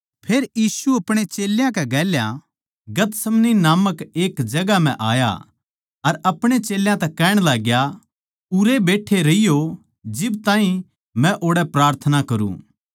फेर यीशु नै अपणे चेल्यां कै गेल्या गतसमनी नामक एक जगहां म्ह आया अर अपणे चेल्यां तै कहण लाग्या उरैए बैट्ठे रहियो जिब ताहीं मै ओड़ै प्रार्थना करूँ